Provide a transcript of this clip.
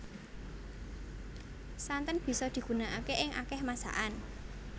Santen bisa digunakaké ing akéh masakan